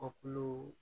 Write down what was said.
Kɔkiliw